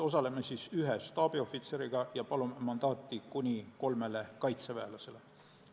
Osaleme ühe staabiohvitseriga ja ma palun mandaati kuni kolmele kaitseväelasele.